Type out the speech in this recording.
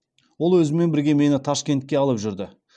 ол өзімен бірге мені ташкентке алып жүрді